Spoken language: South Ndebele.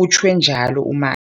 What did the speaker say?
utjhwe njalo u-Ma